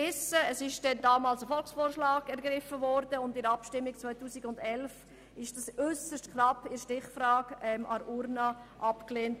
Bekanntlich wurde damals ein Volksvorschlag ergriffen und Ecotax 2011 äussert knapp in der Stichfrage an der Urne abgelehnt.